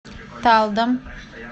талдом